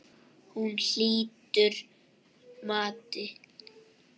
Hún lýtur mati.